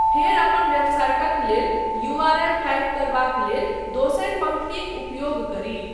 फेर अपन वेबसाइटक लेल यू.आर.एल. टाइप करबाक लेल दोसरि पंक्तिक उपयोग करी।